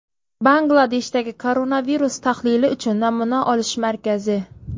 Bangladeshdagi koronavirus tahlili uchun namuna olish markazi.